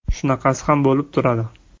Shunaqasi ham bo‘lib turadi.